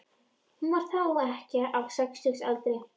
Hún var þá ekkja á sextugsaldri.